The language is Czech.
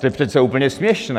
To je přece úplně směšné.